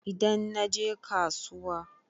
Idan naje kasuwa.